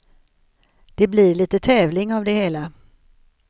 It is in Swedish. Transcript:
Det blir lite tävling av det hela.